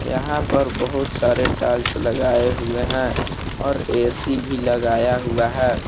यहां पर बहुत सारे टाइल्स लगाए हुए हैं और ए_सी भी लगाया हुआ है।